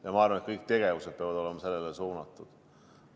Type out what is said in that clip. Ja ma arvan, et kõik tegevused peavad olema sellele suunatud.